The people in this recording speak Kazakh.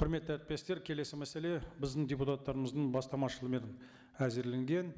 құрметті әріптестер келесі мәселе біздің депутаттарымыздың бастамашылығымен әзірленген